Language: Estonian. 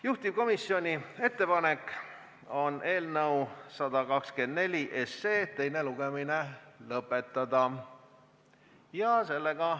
Juhtivkomisjoni ettepanek on eelnõu 124 teine lugemine lõpetada.